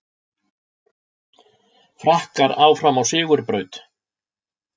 Frakkar áfram á sigurbraut